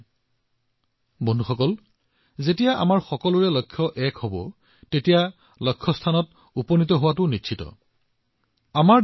আৰু বন্ধুসকল যেতিয়া আমি এটা লক্ষ্যৰে যাত্ৰা কৰোঁ ফলাফলো নিশ্চিত হয়